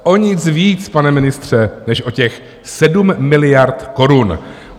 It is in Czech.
O nic víc, pane ministře, než o těch 7 miliard korun.